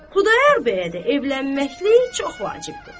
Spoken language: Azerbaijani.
Xudayar bəyə də evlənməklik çox vacibdir.